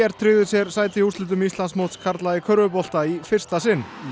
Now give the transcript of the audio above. tryggði sér sæti í úrslitum Íslandsmóts karla í körfubolta í fyrsta sinn